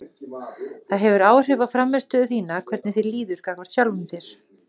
Það hefur áhrif á frammistöðu þína hvernig þér líður gagnvart sjálfum þér.